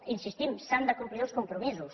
hi insistim s’han de complir els compromisos